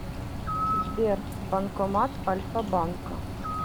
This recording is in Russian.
сбер банкомат альфа банка